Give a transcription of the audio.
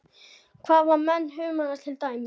Hvað með humarinn til dæmis?